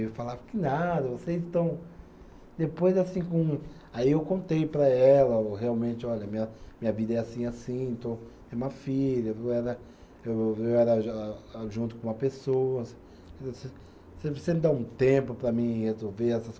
Eu falava, que nada, vocês estão. Depois, assim, com. Aí eu contei para ela o, realmente, olha, minha minha vida é assim, assim, tenho uma filha, parara eu era eu era a junto com uma pessoa, você você me dá um tempo para mim resolver essas